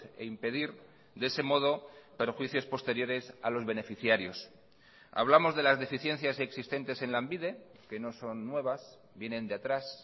e impedir de ese modo perjuicios posteriores a los beneficiarios hablamos de las deficiencias existentes en lanbide que no son nuevas vienen de atrás